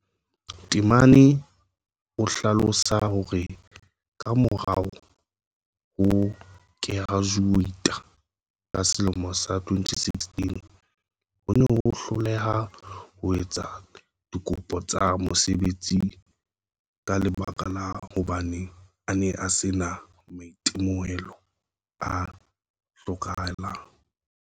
Temane o hlalosa hore ka morao ho kerajuweita ka selemo sa 2016 o ne a hloleha ho etsa dikopo tsa mosebetsi ka lebaka la hobane a ne a sena maitemohelo a hlokehang.